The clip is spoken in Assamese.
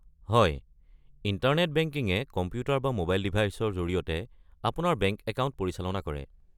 হয়, ইণ্টাৰনেট বেংকিঙে কম্পিউটাৰ বা ম'বাইল ডিভাইচৰ জৰিয়তে আপোনাৰ বেংক একাউণ্ট পৰিচালনা কৰে।